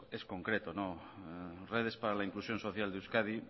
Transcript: es concreto redes para la inclusión social de euskadi